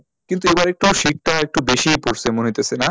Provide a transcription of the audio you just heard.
কিন্তু এবারে একটু শীতটা একটু বেশেই পড়ছে না মনে হইতাছে না,